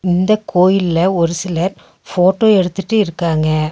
இந்த கோயில்ல ஒரு சிலர் போட்டோ எடுத்துட்டு இருக்காங்க.